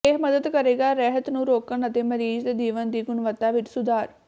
ਇਹ ਮਦਦ ਕਰੇਗਾ ਰਹਿਤ ਨੂੰ ਰੋਕਣ ਅਤੇ ਮਰੀਜ਼ ਦੇ ਜੀਵਨ ਦੀ ਗੁਣਵੱਤਾ ਵਿੱਚ ਸੁਧਾਰ